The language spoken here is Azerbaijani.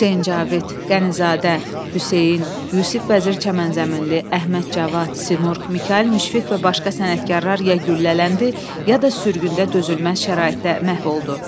Hüseyn Cavid, Qənizadə, Hüseyn, Yusif Vəzir Çəmənzəminli, Əhməd Cavad, Sidqi, Mikayıl Müşfiq və başqa sənətkarlar ya güllələndi, ya da sürgündə dözülməz şəraitdə məhv oldu.